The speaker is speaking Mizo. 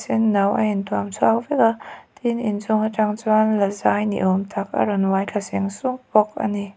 senno a intuam chhuak vek a tin inchhung atang chuan lazai hi awm tak a rawn uai thla seng sung bawk a ni.